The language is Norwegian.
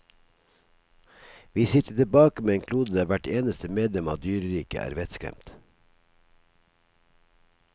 Vi sitter tilbake med en klode der hvert eneste medlem av dyreriket er vettskremt.